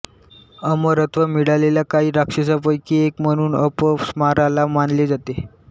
अमरत्व मिळालेल्या काही राक्षसांपैकी एक म्हणून अपस्माराला मानले जाते